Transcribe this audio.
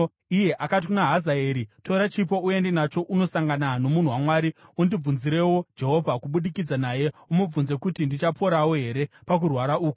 iye akati kuna Hazaeri, “Tora chipo uende nacho unosangana nomunhu waMwari. Undibvunzirewo Jehovha kubudikidza naye; umubvunze kuti, ‘Ndichaporawo here pakurwara uku?’ ”